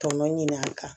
Tɔnɔ ɲini a kan